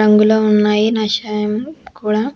రంగులో ఉన్నాయి నషాయం కూడా--